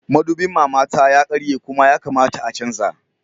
Madubin mamata ya karye Kuma ya kamata a canza